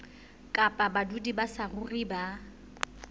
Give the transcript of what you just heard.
kapa badudi ba saruri ba